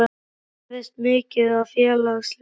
geriði mikið af félagslegum hlutum?